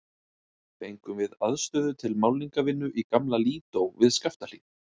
Fengum við aðstöðu til málningarvinnu í gamla Lídó við Skaftahlíð.